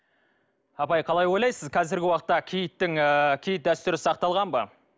апай қалай ойлайсыз қазіргі уақытта киіттің ыыы киіт дәстүрі сақталған ба